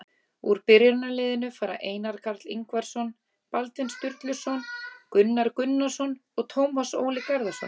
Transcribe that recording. Úr byrjunarliðinu fara Einar Karl Ingvarsson, Baldvin Sturluson, Gunnar Gunnarsson og Tómas Óli Garðarsson.